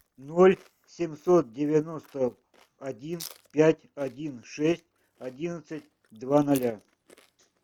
ноль семьсот девяносто один пять один шесть одиннадцать два ноля